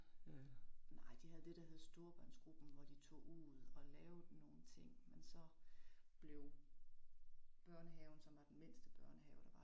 Nej de havde det der hed storebørnsgruppen, hvor de tog ud og lavede nogen ting, men så blev børnehaven, som var den mindste børnehave der var